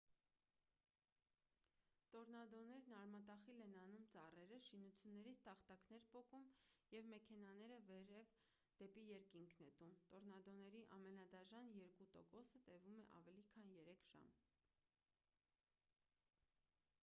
տորնադոներն արմատախիլ են անում ծառերը շինություններից տախտակներ պոկում և մեքենաները վերև դեպի երկինք նետում տորնադոների ամենադաժան երկու տոկոսը տևում է ավելի քան երեք ժամ